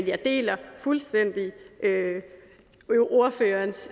jeg deler fuldstændig ordførerens